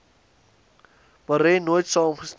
marais nooit saamgestem